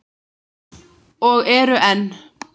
Og eru enn.